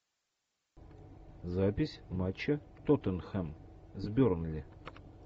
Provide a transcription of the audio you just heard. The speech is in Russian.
запись матча тоттенхэм с бернли